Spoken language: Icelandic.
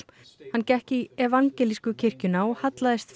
hann gekk í evangelísku kirkjuna og hallaðist